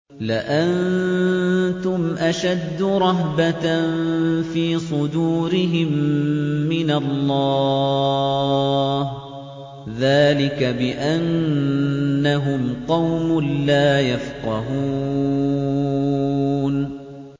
لَأَنتُمْ أَشَدُّ رَهْبَةً فِي صُدُورِهِم مِّنَ اللَّهِ ۚ ذَٰلِكَ بِأَنَّهُمْ قَوْمٌ لَّا يَفْقَهُونَ